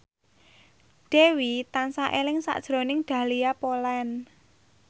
Dewi tansah eling sakjroning Dahlia Poland